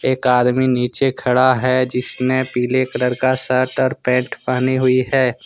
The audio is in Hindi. एक आदमी नीचे खड़ा है जिसने पीले कलर का शर्ट और पेंट पहनी हुई है।